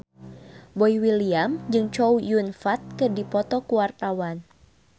Boy William jeung Chow Yun Fat keur dipoto ku wartawan